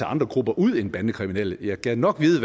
andre grupper ud end bandekriminelle jeg gad nok vide